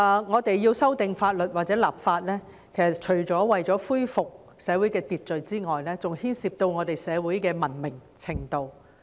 我們需要修訂法律或立法，除了是為恢復社會秩序外，更牽涉到我們社會的文明程度。